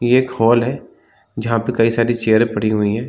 ये एक हॉल है जहाँ पे कई सारी चेयर पड़ी हुईं हैं।